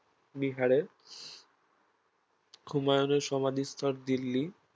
বিহারে, হুমায়ুনের সমাধিস্থল দিল্লি